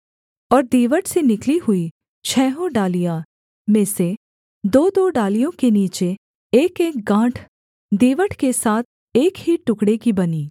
और दीवट से निकली हुई छहों डालियों में से दोदो डालियों के नीचे एकएक गाँठ दीवट के साथ एक ही टुकड़े की बनी